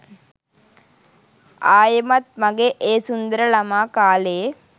ආයෙමත් මගෙ ඒ සුන්දර ළමා කාලේ